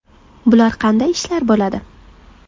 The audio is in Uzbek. Bular qanday ishlar bo‘ladi?